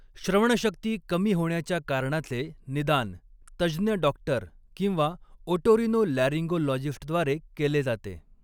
श्रवणशक्ती कमी होण्याच्या कारणाचे निदान तज्ज्ञ डॉक्टर किंवा ओटोरिनोलॅरिन्गोलॉजिस्टद्वारे केले जाते.